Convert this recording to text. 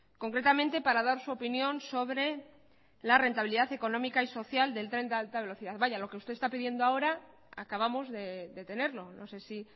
concretamente para dar su opinión sobre la rentabilidad económica y social del tren de alta velocidad vaya lo que usted está pidiendo ahora acabamos de tenerlo no sé si